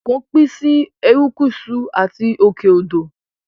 Ẹ̀kọ́ pín sí Erékùṣù àti òkè odò